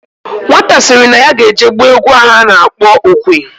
Nwata siri na ya ga eje gba egwu ano akpo okwe.